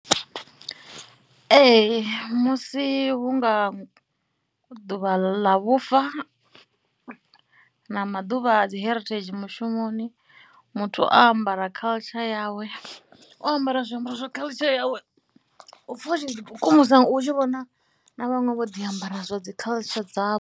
Ee musi hu nga ḓuvha ḽa vhufa na maḓuvha a dzi heritage mushumoni, muthu o ambara culture yawe, o ambara zwiambaro zwo culture yawe u pfha u tshi ḓikukumusa u tshi vhona na vhaṅwe vho ḓi ambara zwa dzi culture dzavho.